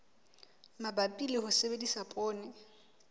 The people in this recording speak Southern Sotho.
mabapi le ho sebedisa poone